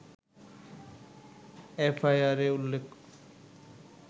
এফআইআরে উল্লেখ